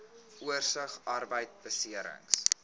oorsig arbeidbeserings